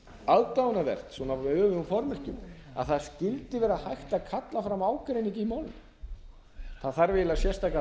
aðdáunarvert svona með öfugum formerkjum að það skyldi vera hægt að kalla fram ágreining í málinu það þarf eiginlega sérstaka